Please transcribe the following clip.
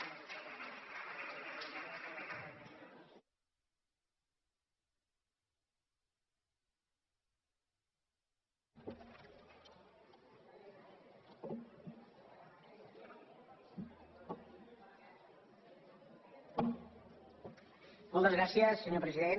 moltes gràcies senyor president